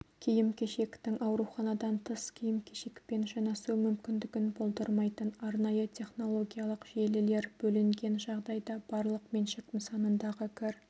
киім-кешектің ауруханадан тыс киім-кешекпен жанасу мүмкіндігін болдырмайтын арнайы технологиялық желілер бөлінген жағдайда барлық меншік нысанындағы кір